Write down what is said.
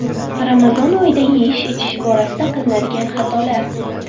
Ramazon oyida yeyish-ichish borasida qilinadigan xatolar.